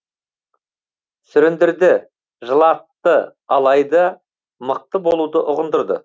сүріндірді жылатты алайда мықты болуды ұғындырды